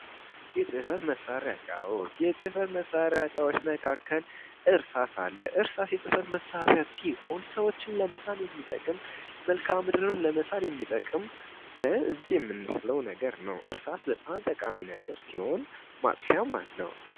የፅህፈት መሳሪያ እቃዎች:- የፅህፈት መሳሪያ እቃዎች መካከል እርሳስ አለ። እርሳስ ሰዎችን ለመሳል የሚጠቅም መልካምድርን ለመሳል የሚጠቅም በእጅ የምንስለዉ ነገር ነዉ። እርሳስ በጣም ጠቃሚ ነገር ሲሆን ማጥፊያም አለዉ።